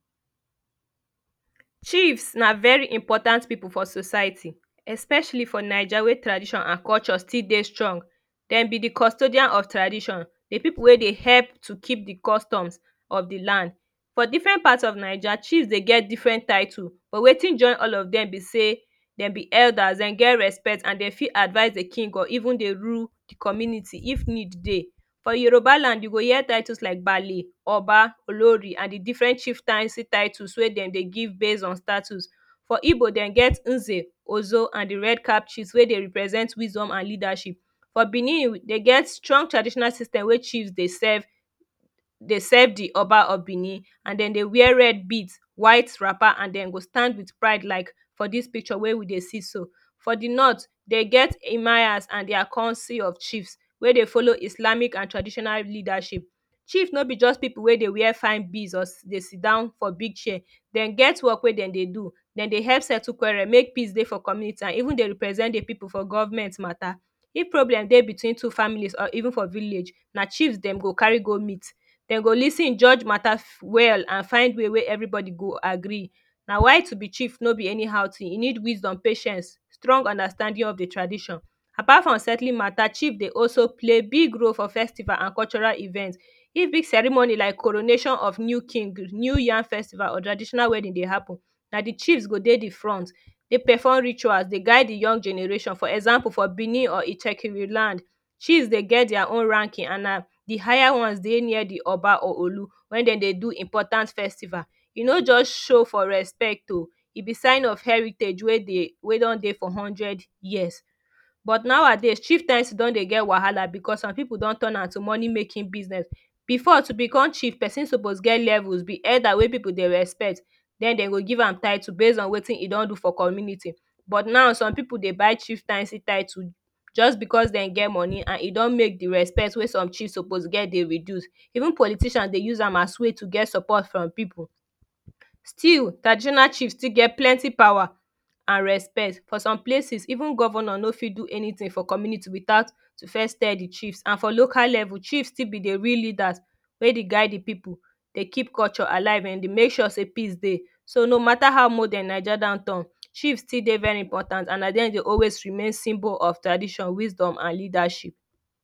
Chiefs na very important people for society especially for naija wey tradition an culture still dey strong dem be de custodian of tradition de people wey dey help to keep de customs of de land for different parts of Naija chiefs dey get different title but wetin join all of dem be say dem be elders dem get respect and dem fit advice de king or even dey rule de community if need dey for Yoruba land you go here titles like baale oba olori an de different chieftaincy tittle wey dem dey give base on status for Igbo dem get uze ozo an de red cap chiefs wey dey represent wisdom and leadership for Benin dey get strong traditional system wey chiefs dey serve dey serve de oba of Benin an dem dey wear red beads white wrapper an dem go stand wit pride like for dis picture wey we dey see so for de norths de get emirs an dia councils of chiefs wey dey follow islamic an traditional leadership Chief no be just people wey dey wear fine fine beads dey sit down for big chair. Dem get work wey dem dey do dem dey help settle quarrel make peace dey for community an even dey represent de people for government mata if problem dey between two families or even for village na chiefs dem go carry go meet dem go lis ten judge mata well and find way wey everybody go agree na why to be chief no be anyhow tin e need wisdom patience, strong understanding of de tradition. Apart from settling mata chief dey also play big role for festival an cultural event if big ceremony like coronation of new king new yam festival or traditional wedding dey happen na de chiefs go dey de front dey perform rituals dey guide de young generations for example for Benin or ijekin land chiefs dey get dia own ranking an na de higher ones dey near de oba or Olu wen dem dey do important festival e no just show for respect oo e be sign of heritage we don dey for hundred years but nowadays chieftaincy don dey get wahala becos some people don turn am to money making business before to become chief person suppose get levels, be elder wey people dey respect dem dem go give am title base in wetin he don do for community but now some people dey buy chieftaincy tittle just because dem get money and e don make de respect wey some chiefs suppose get dey reduce even politicians dey use am as way to get support from people still traditional chief still get plenty power an respect for some places even governor no fit do anytin for community witout to first tell de chiefs an for local level chief still be de real leaders wey dey guide de people dey keep culture alive dem dey make sure say peace dey do no matter how modern de Naija don turn chiefs still dey very important an at de end dem go always remain symbol of tradition wisdom an leadership